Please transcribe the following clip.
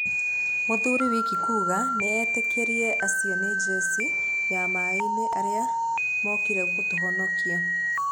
Mũthuri Wiki kuuga nĩetĩkirie acio nĩ njeci ya maĩinĩ arĩa mokire gũtũhonikia.